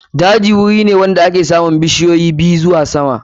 Daji wuri ne wanda ake samun bishiyoyi ɓiyu zuwa sama.